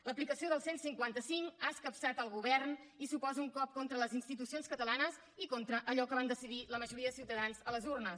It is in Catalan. l’aplicació del cent i cinquanta cinc ha escapçat el govern i suposa un cop contra les institucions catalanes i contra allò que van decidir la majoria de ciutadans a les urnes